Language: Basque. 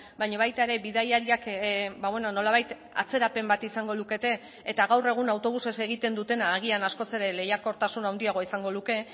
baina baita ere bidaiariak nolabait atzerapen bat izango lukete eta gaur egun autobusez egiten dutena agian askoz ere lehiakortasun handiagoa izango luke